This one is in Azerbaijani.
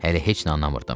Hələ heç nə anlamırdım.